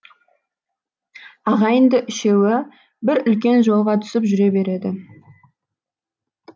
ағайынды үшеуі бір үлкен жолға түсіп жүре береді